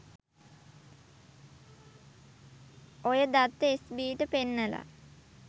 ඔය දත්ත S B ට පෙන්නලා